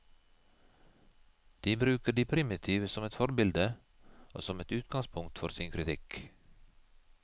De bruker de primitive som et forbilde, og som et utgangspunkt for sin kritikk.